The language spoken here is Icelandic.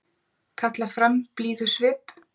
Kalla fram blíðusvip.